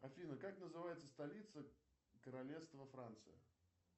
афина как называется столица королевства франции